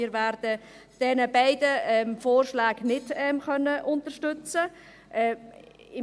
Wir werden diese beiden Vorschläge nicht unterstützen können.